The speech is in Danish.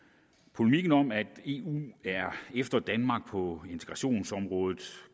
polemikken om at eu er efter danmark på integrationsområdet